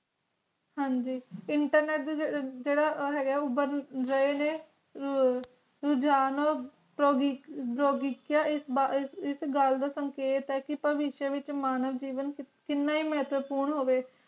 ਹਾਂ ਜੀ internet ਦਾ ਜੇਰਾ ਹੈਗਾ ਉਬਾਰ ਰੁਜਾਣ ਐਸ ਗੱਲ ਦਾ ਸੰਗਤੇ ਕੀਤਾ ਵਿੱਚੋ ਵਿਚ ਮਾਨਾਂ ਜੀਵਨ ਕਿੰਨਾ ਮੇਹਤੇਪੂਨ ਹੋਵੇ ਇੰਟਰਨੇਟ